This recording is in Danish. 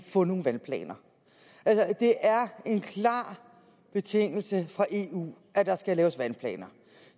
få nogle vandplaner det er en klar betingelse fra eu at der skal laves vandplaner